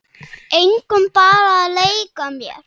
Engum, bara að leika mér